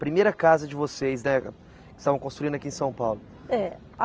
Primeira casa de vocês, né, que estavam construindo aqui em São Paulo. É